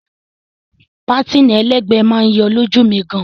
Pátìnì ẹlẹ́gbẹ̀ẹ́ máa yọ lójú mi gan.